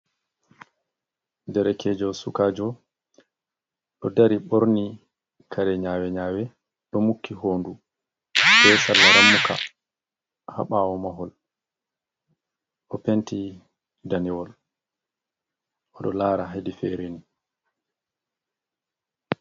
Derekejo sukajo do dari borni kare nyawe nyawe do muki hondu be sarla wa ramuka habawo mahol o penti danewol o do lara hedi fere ni.